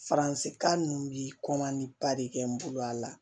Faransikan ninnu bi ba de kɛ n bolo a la